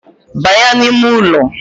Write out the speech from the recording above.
Banya n’ime ụlọ